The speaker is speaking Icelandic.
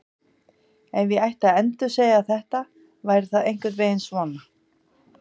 Ef ég ætti að endursegja þetta væri það einhvern veginn svona: